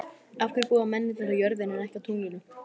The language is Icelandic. Af hverju búa mennirnir á jörðinni en ekki á tunglinu?